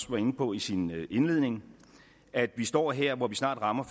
var inde på i sin indledning at vi står her hvor vi snart rammer